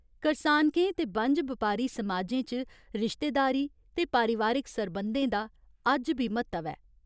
करसानकें ते बनज बपारी समाजें च रिश्तेदारी ते पारिवारिक सरबंधें दा अज्ज बी म्हत्तव ऐ।